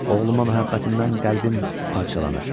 Oğluma məhəbbətimdən qəlbim parçalanır.